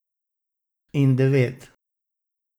In devet.